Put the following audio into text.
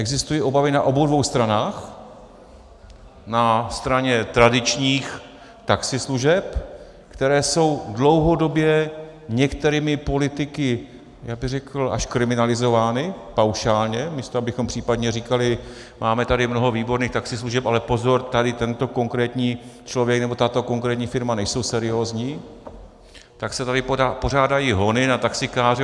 Existují obavy na obou dvou stranách, na straně tradičních taxislužeb, které jsou dlouhodobě některými politiky, já bych řekl, až kriminalizovány paušálně, místo abychom případně říkali "máme tady mnoho výborných taxislužeb, ale pozor, tady tento konkrétní člověk nebo tato konkrétní firma nejsou seriózní", tak se tady pořádají hony na taxikáře.